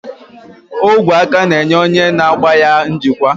Ogwe aka na-enye onye na-agba ya njikwa.